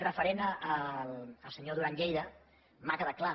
referent al senyor duran lleida m’ha quedat clar